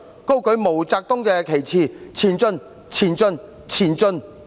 高舉毛澤東旗幟，前進，前進，前進，進！